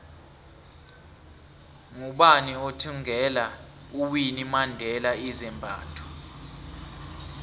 ngubani othvngela uwinnie mandela izambatho